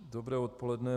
Dobré odpoledne.